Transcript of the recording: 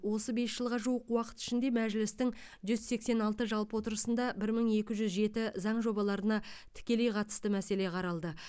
осы бес жылға жуық уақыт ішінде мәжілістің жүз сексен алты жалпы отырысында бір мың екі жүз жеті заң жобаларына тікелей қатысты мәселе қаралды